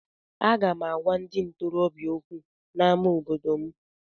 Aga m agwa ndị ntorobịa okwu n’ámá obodo m.